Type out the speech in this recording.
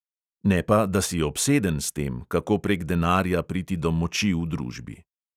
Ne pa, da si obseden s tem, kako prek denarja priti do moči v družbi.